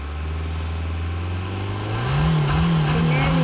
എന്നാപ്പിന്നെ പോയിക്കൂടെ? അവടെ പഠിച്ചെടത്തന്നെ പോയിക്കൂടെ?